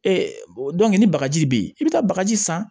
ni bagaji be yen i bi taa bagaji san